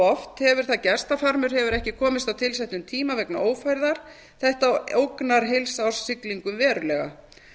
oft hefur það gerst að farmur hefur ekki komist á tilsettum tíma vegna ófærðar þetta ógnar heilsárssiglingum verulega